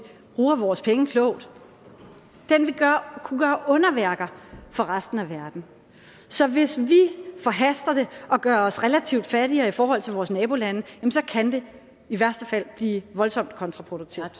bruger vores penge klogt kunne gøre underværker for resten af verden så hvis vi forhaster det og gør os relativt fattigere i forhold til vores nabolande kan det i værste fald blive voldsomt kontraproduktivt